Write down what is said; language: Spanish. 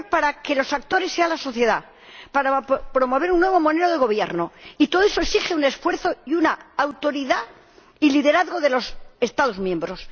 es dinero para que los actores sean la sociedad, para promover un nuevo modelo de gobierno, y todo eso exige un esfuerzo, una autoridad y un liderazgo de los Estados miembros.